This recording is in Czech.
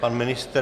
Pan ministr.